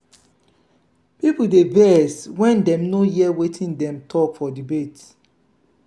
people dey vex when dem no hear wetin dem talk for debates.